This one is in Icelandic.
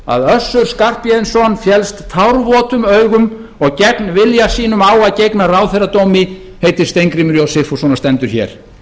að össur skarphéðinsson féllst tárvotum augum og gegn vilja sínum á að gegna ráðherradómi heitir steingrímur j sigfússon og stendur hér